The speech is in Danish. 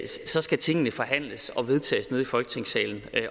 så skal tingene forhandles og vedtages nede i folketingssalen